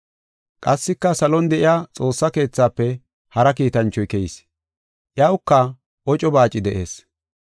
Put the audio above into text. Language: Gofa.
Qassika salon de7iya Xoossa keethafe hara kiitanchoy keyis; iyawuka oco baaci de7ees.